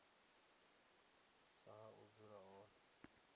sa ha u dzula hone